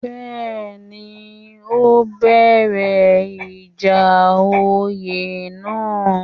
Bẹ́ẹ̀ni, ó bẹ̀rẹ̀ ìjà oyè náà